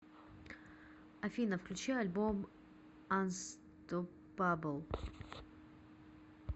афина включи альбом анстопабл